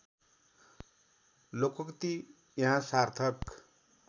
लोकोक्ती यहाँ सार्थक